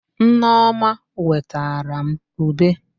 Nneọma wetara m ube.